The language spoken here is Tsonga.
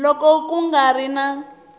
loko ku nga ri na